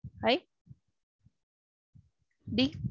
I D